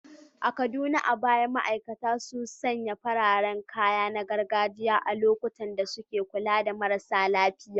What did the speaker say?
A Kaduna, a baya ma’aikatan jinya sun sanya fararen kaya na gargajiya a lokacin da suke kula da marasa lafiya.